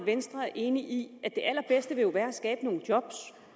at venstre er enig i at det allerbedste jo vil være at skabe nogle job